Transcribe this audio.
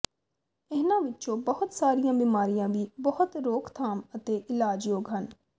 ਇਹਨਾਂ ਵਿੱਚੋਂ ਬਹੁਤ ਸਾਰੀਆਂ ਬਿਮਾਰੀਆਂ ਵੀ ਬਹੁਤ ਰੋਕਥਾਮ ਅਤੇ ਇਲਾਜ ਯੋਗ ਹਨ